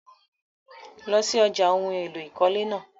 Lọ sí ọ̀já ohun èlò ìkọ́lé náà!